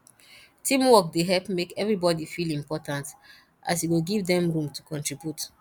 teamwork dey help make everybody feel important as e go give them room to contribute